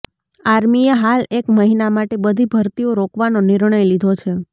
આર્મીએ હાલ એક મહિના માટે બધી ભરતીઓ રોકવાનો નિર્ણય લીધો છે